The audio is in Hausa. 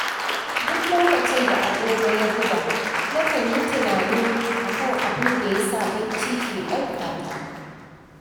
Duk lokacin da agogo ya buga, nakan yi tunanin a kan abinda yasa bacci ke ɗaukata.